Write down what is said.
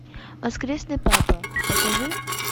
воскресный папа покажи